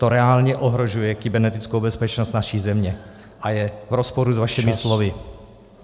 To reálně ohrožuje kybernetickou bezpečnost naší země a je v rozporu s vašimi slovy.